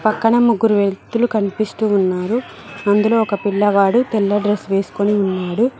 అక్కడ ముగ్గురు వ్యక్తులు కనిపిస్తూ ఉన్నారు అందులో ఒక పిల్లవాడు తెల్ల డ్రెస్ వేసుకొని ఉన్నాడు.